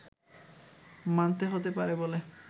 মানতে হতে পারে বলে